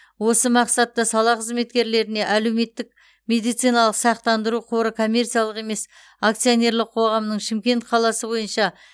осы мақсатта сала қызметкерлеріне әлеуметтік медициналық сақтандыру қоры коммерциялық емес акционерлік қоғамының шымкент қаласы бойынша